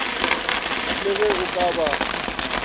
le ge o ka ba